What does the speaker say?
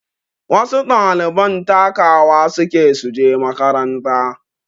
Wasu ɗaliban takawa suke suje makaranta